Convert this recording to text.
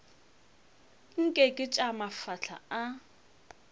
nke ke tša mafahla a